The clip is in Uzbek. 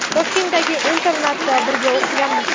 Toshkentdagi internatda birga o‘qiganmiz.